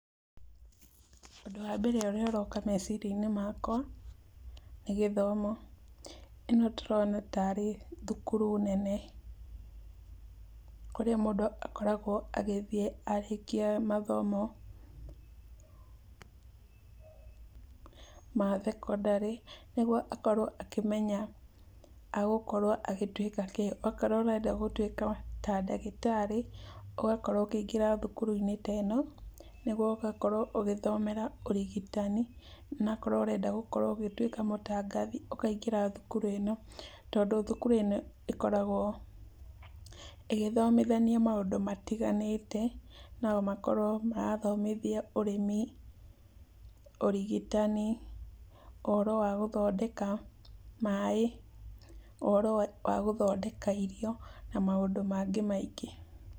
Ũndũ wa mbere ũrĩa ũroka meciria-inĩ makwa nĩ gĩthomo. Ĩno ndĩrona tarĩ thũkũrũ nene kũrĩa mũndũ akoragwo agĩthiĩ arĩkia mathomo ma thekondarĩ. Nĩgũo akorũo akĩmenya agũkorũo agĩtũĩka kĩ, okorũo ũrenda gũtũĩka ta ndagĩtarĩ, ũgakorũo ũkĩingĩra thũkũrũ teno nĩgũo ũgakorũo ũgĩthomera ũrigitani. Na akorũo ũrenda gũkorũo ũgĩtũĩka mũtangathi ũkaingĩra thũkũrũ ĩno, tondũ thũkũrũ ĩno ĩkoragwo ĩgĩthomithania maũndũ matiganĩte. No makarwo marathomithia ũrĩmi, ũrigitanii, ũhorũ wa gũthondeka maĩ, ũhorũ wa gũthondeka irio, na maũndũ mangĩ maingĩ.